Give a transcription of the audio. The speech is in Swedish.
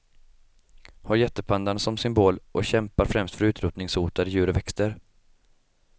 Har jättepandan som symbol och kämpar främst för utrotningshotade djur och växter.